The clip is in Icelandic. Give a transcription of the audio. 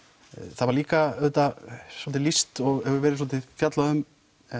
það var líka svolítið lýst hefur verið svolítið fjallað um